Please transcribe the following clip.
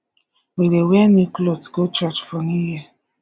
we dey wear new clot go church for new year